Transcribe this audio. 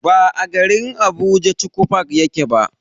Ba a garin Abuja chuchu park yake ba.